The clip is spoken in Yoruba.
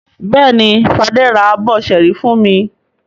Bẹ́ẹ̀ni, Fadé ra abọ́ ṣẹ́ẹ́rì fún mi.